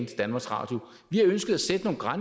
til danmarks radio